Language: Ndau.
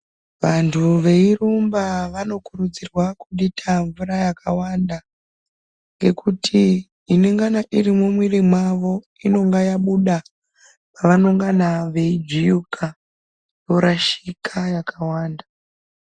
Vanthu veirumba vanokurudzirwa kudita mvura yakawanda ngekuti inongana iri mumwiri mwavo inonga yabuda pavanongana veijuwika yorashika yakawanda.